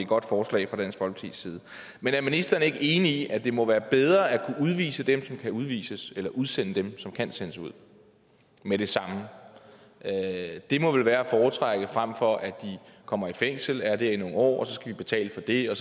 godt forslag men er ministeren ikke enig i at det må være bedre at kunne udvise dem som kan udvises eller udsende dem som kan sendes ud med det samme det må vel være at foretrække frem for at de kommer i fængsel er det i nogle år skal betale for det og